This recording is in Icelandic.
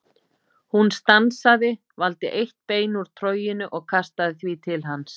Hún stansaði, valdi eitt bein úr troginu og kastaði því til hans.